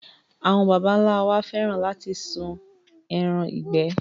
Àwọn baba ńlá wa fẹ́ràn láti sún ẹran ìgbẹ́.